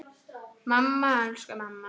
Mamma, elsku mamma.